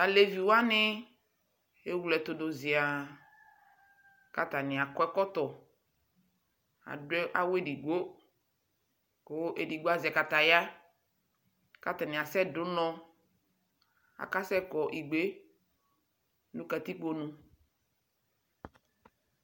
Alevi wani ewle ɛtu du ziaa Ku atani akɔ ɛkɔtɔ Adu awu edigboKu edigbo azɛ kataya Ku atani asɛ du unɔ Akasɛkɔ igbe nu katikpo nu